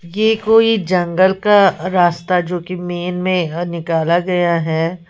ये कोई जंगल का रास्ता जो कि मेन में यह निकाला गया है।